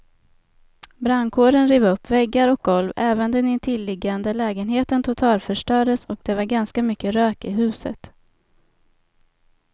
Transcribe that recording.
Brandkåren rev upp väggar och golv, även den intilliggande lägenheten totalförstördes och det var ganska mycket rök i huset.